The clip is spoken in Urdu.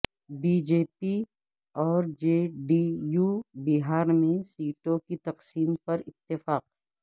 بی جے پی اور جے ڈی یو بہار میں سیٹوں کی تقسیم پر اتفاق